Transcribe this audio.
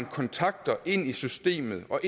kontakter ind i systemet og